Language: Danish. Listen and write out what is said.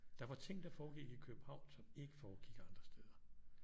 Der var ting der foregik i København som ikke foregik andre steder